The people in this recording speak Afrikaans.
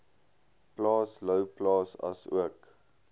plaas louwplaas asook